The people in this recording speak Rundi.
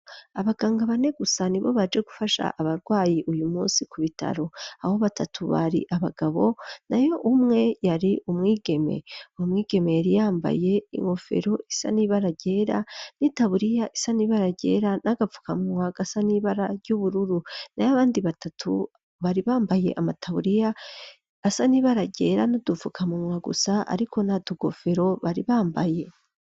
Abaganga bane gusa ni bo baje gufasha abarwayi uyu munsi ku bitaro. Aho batatu bari abagabo nayo umwe yari umwigeme. Umwigeme yari yambaye inkofero isa nibara ryera n'itaburiya isa nibara ryera n'agapfukamumwa gasa nibara ry'ubururu nayo abandi batatu bari bambaye amataburiya asa n'ibara ryera n'udufukamunwa gusa ariko nta nkofero bari bambaye.